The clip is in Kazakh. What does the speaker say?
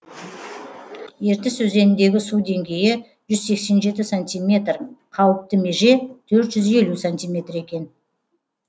ертіс өзеніндегі су деңгейі жүз сексен жеті сантиметр қауіпті меже төрт жүз елу сантиметр екен